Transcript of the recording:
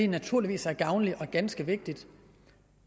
naturligvis er gavnligt og ganske vigtigt